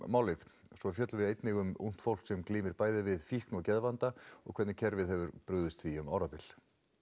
málið svo fjöllum við einnig um ungt fólk sem glímir bæði við fíkn og geðvanda og hvernig kerfið hefur brugðist því um árabil